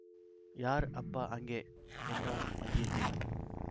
யார் அப்பா அங்கே என்றான் வந்தியத்தேவன்